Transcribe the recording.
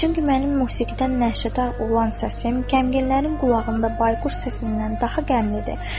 Çünki mənim musiqidən nəşədar olan səsim qəmginlərin qulağında bayquş səsindən daha qəmlidir.